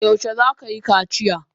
Yaushe za ka yi kaciya?